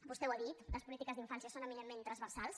vostè ho ha dit les polítiques d’infància són eminentment transversals